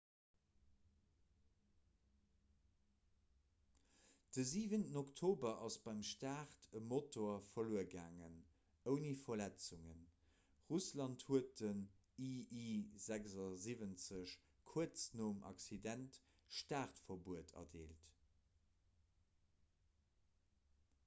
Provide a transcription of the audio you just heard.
de 7 oktober ass beim start e motor verluer gaangen ouni verletzungen russland huet den ii-76 kuerz nom accident startverbuet erdeelt